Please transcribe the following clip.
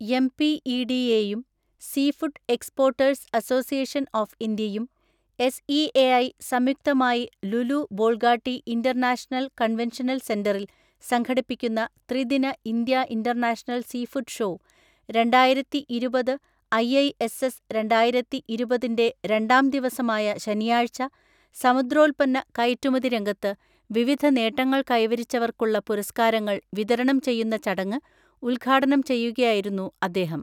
എംപിഇഡിഎയും seafood exporters association of ഇന്ത്യയും SEAI സംയുക്തമായി Lulu Bolgatty international convention സെൻ്ററിൽ സംഘടിപ്പിക്കുന്ന ത്രിദിന ഇന്ത്യ ഇൻ്റർനാഷണൽ സീഫുഡ് ഷോ രണ്ടായിരത്തിഇരുപത് ഐഐഎസ്എസ് രണ്ടായിരത്തിഇരുപതിൻ്റെ രണ്ടാംദിവസമായ ശനിയാഴ്ച സമുദ്രോത്പന്ന കയറ്റുമതി രംഗത്ത് വിവിധ നേട്ടങ്ങൽ കൈവരിച്ചവർക്കുള്ള പുരസ്കാരങ്ങൾ വിതരണം ചെയ്യുന്ന ചടങ്ങ് ഉദ്ഘാടനം ചെയ്യുകയായിരുന്നു അദ്ദേഹം.